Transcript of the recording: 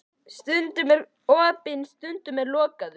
Stundum er hann opinn, stundum lokaður.